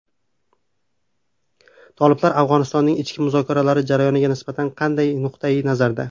Toliblar Afg‘onistonning ichki muzokaralar jarayoniga nisbatan qanday nuqtai nazarda?